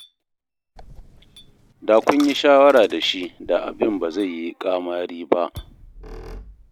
Da kun yi shawara da shi da abin ba zai yi ƙamari ba.